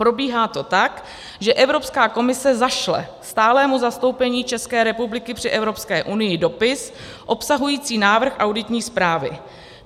Probíhá to tak, že Evropská komise zašle stálému zastoupení České republiky při Evropské unii dopis obsahující návrh auditní zprávy.